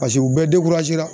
Paseke u bɛɛ la.